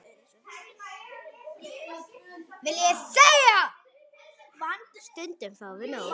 En stundum fáum við nóg.